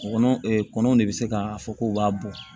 Kɔnɔ kɔnɔ de bɛ se k'a fɔ k'u b'a bɔ